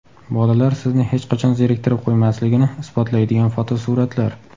Bolalar sizni hech qachon zeriktirib qo‘ymasligini isbotlaydigan fotosuratlar.